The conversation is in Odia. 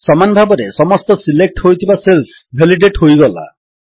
ସମାନ ଭାବରେ ସମସ୍ତ ସିଲେକ୍ଟ ହୋଇଥିବା ସେଲ୍ସ ଭେଲିଡେଟ୍ ହୋଇଗଲା